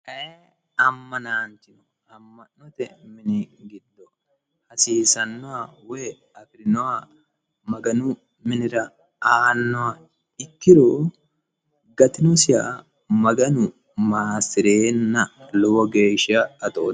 ayee ammanaanchino amma'note mini giddo hasiisannoha woy afirinoha maganu minira aannoha ikkiro gatinosiha maganu maassireenna lowo geeshsha atootanno.